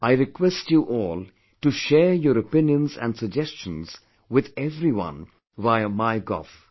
I request you all to share your opinions and suggestions with everyone via MyGov